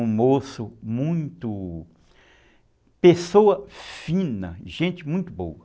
Um moço muito... Pessoa fina, gente muito boa.